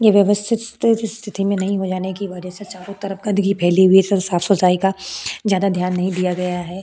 ये व्यवस्थित स्थिति में नहीं हो जाने की वजह से चारो तरफ गंदगी फैली हुई है साफ सफाई का ज़्यादा ध्यान नहीं दिया गया है।